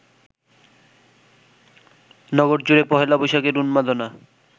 নগরজুড়ে পহেলা বৈশাখের উন্মাদনা